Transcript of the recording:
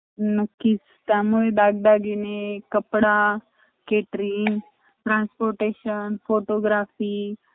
तिथे अजून दोन तास आम्हाला लागले entry करायला रात्री एक दीड वाजता दोन वाजता त तेपण खूप जास्ती experience असा होता आणि आम्हाला कडल कि अच्छा china मध्ये survive करणं कठीण ए म्हणून